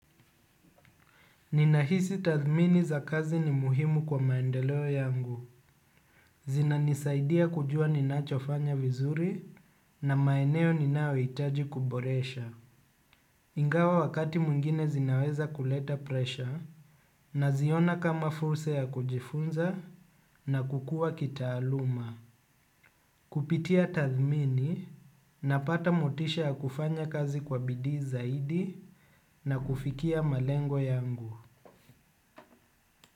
Ninahisi tathmini za kazi ni muhimu kwa maendeleo yangu. Zinanisaidia kujua ninachofanya vizuri na maeneo ninayohitaji kuboresha. Ingawa wakati mwingine zinaweza kuleta presha naziona kama fursa ya kujifunza na kukua kitaaluma. Kupitia tathmini napata motisha ya kufanya kazi kwa bidii zaidi na kufikia malengo yangu.